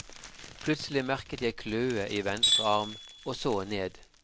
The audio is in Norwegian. Plutselig merket jeg kløe i venstre arm, og så ned.